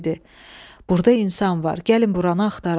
Burda insan var, gəlin buranı axtaraq.